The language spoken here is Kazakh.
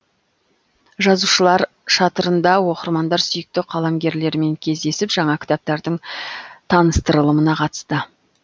жазушылар шатырында оқырмандар сүйікті қаламгерлерімен кездесіп жаңа кітаптардың таныстырылымына қатысты